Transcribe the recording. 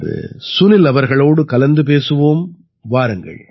இன்று சுனில் அவர்களோடு கலந்து பேசுவோம் வாருங்கள்